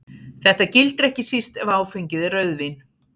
Þetta gildir ekki síst ef áfengið er rauðvín.